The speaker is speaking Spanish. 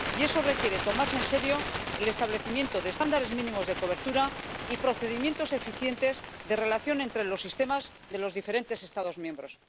Y eso requiere tomarse en serio el establecimiento de estándares mínimos de cobertura y procedimientos eficientes de relación entre los sistemas de los diferentes Estados miembros.